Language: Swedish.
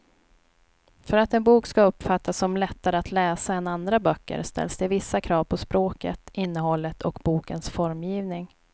För att en bok ska uppfattas som lättare att läsa än andra böcker ställs det vissa krav på språket, innehållet och bokens formgivning.